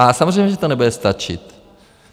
A samozřejmě že to nebude stačit.